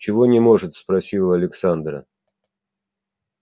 чего не может спросила александра